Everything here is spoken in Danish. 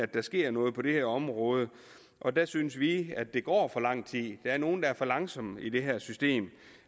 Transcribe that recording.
der sker noget på det her område og der synes vi at der går for lang tid der er nogle der er for langsomme i det her system